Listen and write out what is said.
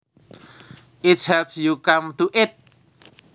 it helps you come to it